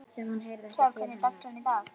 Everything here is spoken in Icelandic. Kjárr, hvernig er dagskráin í dag?